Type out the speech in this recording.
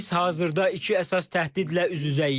Biz hazırda iki əsas təhdidlə üz-üzəyik.